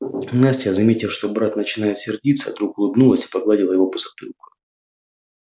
настя заметив что брат начинает сердиться вдруг улыбнулась и погладила его по затылку